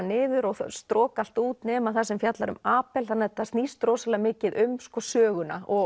niður og stroka allt út nema það sem fjallar um þannig að þetta snýst rosalega mikið um söguna og